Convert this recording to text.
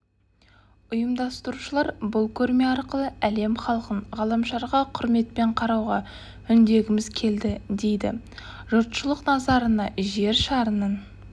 ұйымдастырушылар бұл көрме арқылы әлем халқын ғаламшарға құрметпен қарауға үндегіміз келді дейді жұртшылық назарына жер шарының